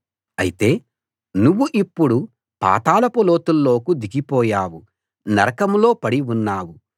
అయితే నువ్వు ఇప్పుడు పాతాళపు లోతుల్లోకి దిగిపోయావు నరకంలో పడి ఉన్నావు